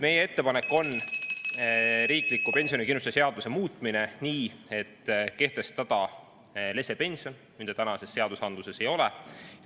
Meie ettepanek on riikliku pensionikindlustuse seadust muuta nii, et kehtestada lesepension, mida tänastes seadustes ei ole.